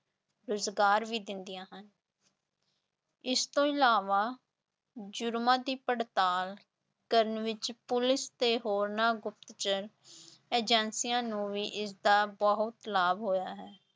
ਰੁਜ਼ਗਾਰ ਵੀ ਦਿੰਦੀਆਂ ਹਨ ਇਸ ਤੋਂ ਇਲਾਵਾ ਜ਼ੁਰਮਾਂਂ ਦੀ ਪੜਤਾਲ ਕਰਨ ਵਿਚ ਪੁਲਿਸ ਤੇ ਹੋਰਨਾਂ ਗੁਪਤਚਰ ਏਜੰਸੀਆਂ ਨੂੰ ਵੀ ਇਸਦਾ ਬਹੁਤ ਲਾਭ ਹੋਇਆ ਹੈ।